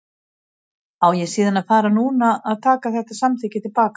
Á ég síðan að fara núna að taka þetta samþykki til baka?